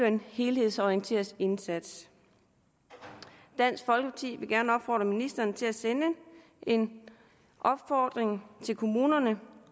en helhedsorienteret indsats dansk folkeparti vil gerne opfordre ministeren til at sende en opfordring til kommunerne